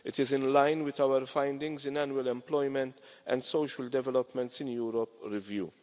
It is in line with our findings in the annual Employment and Social Developments in Europe review.